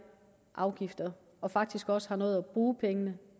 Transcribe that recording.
afgifter og faktisk også nåede at bruge pengene